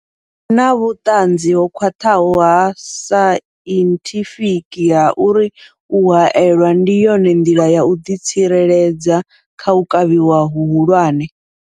Hu na vhuṱanzi ho khwaṱhaho ha sainthifiki ha uri u haelwa ndi yone nḓila ya u ḓitsireledza kha u kavhiwa hu hulwane.